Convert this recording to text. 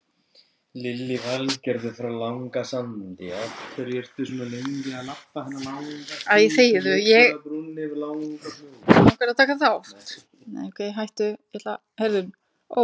Var það þín ákvörðun að fá Gunnleif og losa þig við Daða?